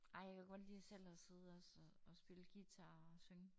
Ej jeg kan godt lide at selv og sidde og så at spille guitar og synge